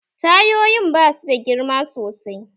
Tayoyin ba suda girma sosai